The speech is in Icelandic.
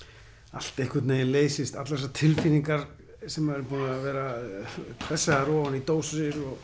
allt einhvern veginn leysist allar þessar tilfinningar sem eru búnar að vera pressaðar ofan í dós